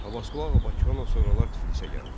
Abbasqulu Ağa Bakıxanov sonralar Tiflisə gəlir.